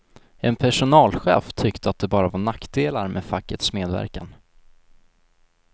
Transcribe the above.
En personalchef tyckte att det bara var nackdelar med fackets medverkan.